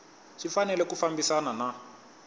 swi fanele ku fambisana na